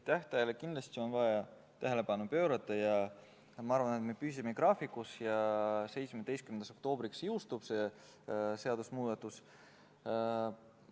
Tähtajale on kindlasti vaja tähelepanu pöörata ja ma arvan, et me püsime graafikus ja 17. oktoobriks see seadusemuudatus jõustub.